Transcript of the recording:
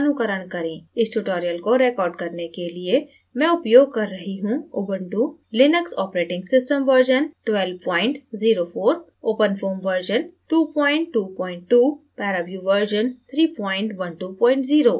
इस tutorial को record करने के लिए मैं उपयोग कर रहा हूँ Ubuntu Linux operating system version 1204